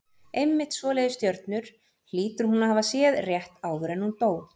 Einmitt svoleiðis stjörnur hlýtur hún að hafa séð rétt áður en hún dó.